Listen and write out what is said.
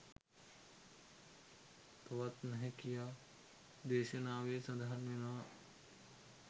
තවත් නැහැ කියා, දේශනාවේ සඳහන් වෙනවා.